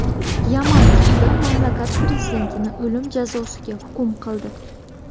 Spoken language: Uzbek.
Yaman sudi mamlakat prezidentini o‘lim jazosiga hukm qildi.